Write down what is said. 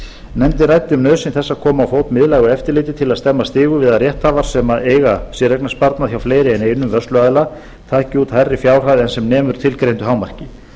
nefndin ræddi um nauðsyn þess að koma á fót miðlægu eftirliti til að stemma stigu við að rétthafar sem eiga séreignarsparnað hjá fleiri en einum vörsluaðila taki út hærri fjárhæð en sem nemur tilgreindu hámarki